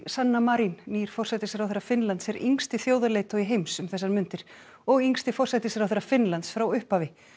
sanna Marin nýr forsætisráðherra Finnlands er yngsti þjóðarleiðtogi heims um þessar mundir og yngsti forsætisráðherra Finnlands frá upphafi